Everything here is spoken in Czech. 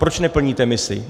Proč neplníte misi?